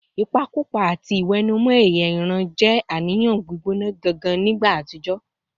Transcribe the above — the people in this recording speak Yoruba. Ìpakúpa àti ìwẹ̀nùmọ́ ẹ̀yà ìran jẹ́ àníyàn gbígbóná janjan nígbà àtijọ́